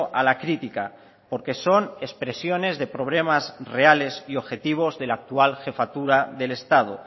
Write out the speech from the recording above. a la crítica porque son expresiones de problemas reales y objetivos de la actual jefatura del estado